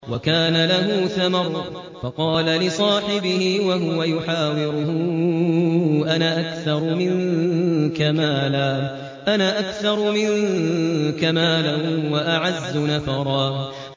وَكَانَ لَهُ ثَمَرٌ فَقَالَ لِصَاحِبِهِ وَهُوَ يُحَاوِرُهُ أَنَا أَكْثَرُ مِنكَ مَالًا وَأَعَزُّ نَفَرًا